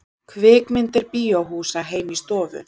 Kvikmyndir bíóhúsa heim í stofu